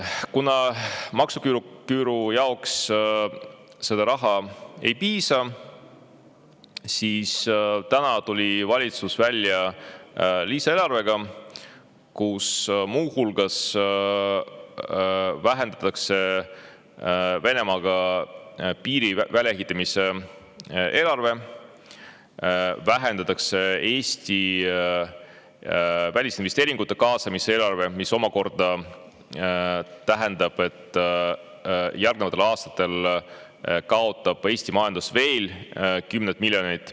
Kuna maksuküüru seda raha ei piisa, siis täna tuli valitsus välja lisaeelarvega, kus muu hulgas vähendatakse Venemaaga piiri väljaehitamise eelarvet ja vähendatakse Eestis välisinvesteeringute kaasamise eelarvet, mis omakorda tähendab, et järgnevatel aastatel kaotab Eesti majandus veel kümneid miljoneid.